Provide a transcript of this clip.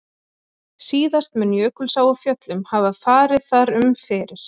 Síðast mun Jökulsá á Fjöllum hafa farið þar um fyrir